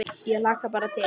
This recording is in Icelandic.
Ég hlakka bara til